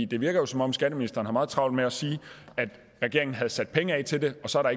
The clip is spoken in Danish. det virker jo som om skatteministeren har meget travlt med at sige at regeringen havde sat penge af til det og så er